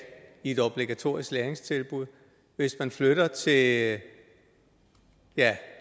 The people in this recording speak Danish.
i et obligatorisk læringstilbud hvis man flytter til ja